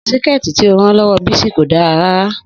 Síkẹ̀tí tí ó rán lọ́wọ́ Bisi kò dára rárá